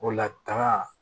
O la taga